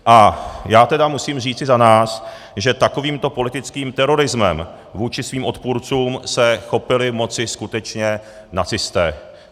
A já tedy musím říci za nás, že takovýmto politickým terorismem vůči svým odpůrcům se chopili moci skutečně nacisté.